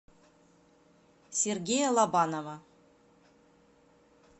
сергея лобанова